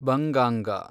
ಬಂಗಾಂಗ